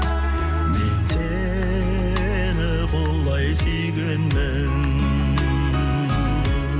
мен сені құлай сүйгенмін